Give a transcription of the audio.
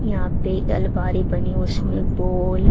यहां पे अलमारी बनी है उसमें बोल--